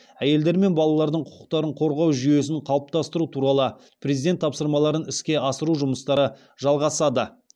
әйелдер мен балалардың құқықтарын қорғау жүйесін қалыптастыру туралы президент тапсырмаларын іске асыру жұмыстары жалғасады